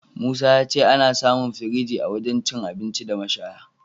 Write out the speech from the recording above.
Musa ya ce ana samun firinji a wajen cin abinci da mashaya..